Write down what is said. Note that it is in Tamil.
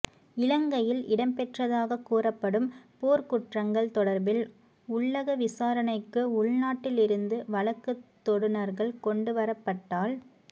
இலங்கையில் இடம்பெற்றதாகக் கூறப்படும் போர்க்குற்றங்கள் தொடர்பில் உள்ளக விசாரணைக்கு உள்நாட்டில் இருந்து வழக்குத் தொடுநர்கள் கொண்டு வரப்பட்டால்